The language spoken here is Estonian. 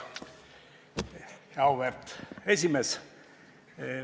Auväärt esimees!